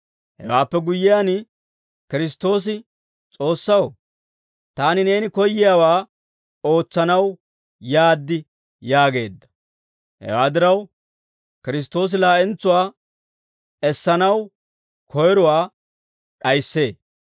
Hewaappe guyyiyaan Kiristtoosi, «S'oossaw, taani neeni koyiyaawaa ootsanaw yaad» yaageedda. Hewaa diraw, Kiristtoosi laa'entsuwaa essanaw koyrowaa d'ayissee.